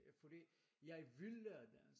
Fordi jeg vil lære dansk